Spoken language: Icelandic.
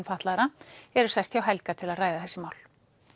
fatlaðra eru sest hjá Helga til að ræða þessi mál